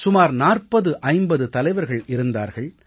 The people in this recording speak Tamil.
சுமார் 4050 தலைவர்கள் இருந்தார்கள்